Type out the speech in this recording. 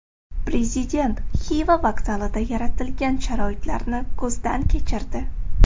Prezident Xiva vokzalida yaratilgan sharoitlarni ko‘zdan kechirdi.